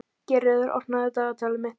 Geirröður, opnaðu dagatalið mitt.